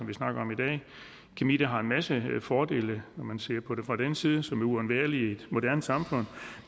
vi snakker om i dag kemi har en masse fordele når man ser på det fra den side som er uundværlige i et moderne samfund